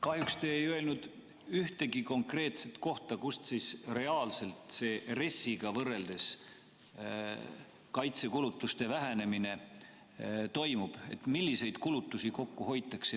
Kahjuks te ei öelnud ühtegi konkreetset kohta, kust siis reaalselt RES-iga võrreldes kaitsekulutused vähenevad, milliseid kulutusi kokku hoitakse.